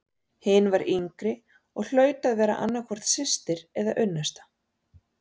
Hin var yngri og hlaut að vera annað hvort systir eða unnusta.